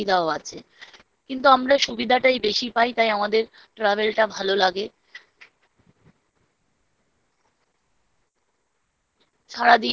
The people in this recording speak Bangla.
অসুবিধাও আছে। কিন্তু আমরা সুবিধাটাই বেশি পাই। তাই আমাদের travel টা ভালো লাগে।